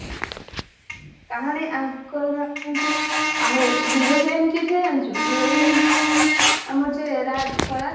କାହାଣୀ ଆଁ ତା ଯୋଉ hero heroin କିଏ ଥିଲେ ଜାଣିଛୁ hero heroin ଥିଲେ ଆମର ଯେ ରାଜ୍ ସ୍ବରାଜ୍